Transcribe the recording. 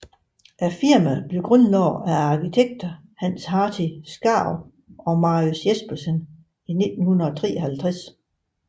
Firmaet blev grundlagt af arkitekterne Hans Hartvig Skaarup og Marinus Jespersen i 1953